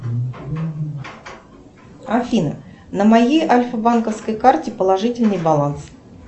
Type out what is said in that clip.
афина на моей альфабанковской карте положительный баланс